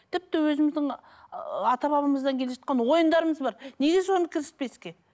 тіпті өзіміздің ы ата бабамыздан келе жатқан ойындарымыз бар неге соны кіріспеске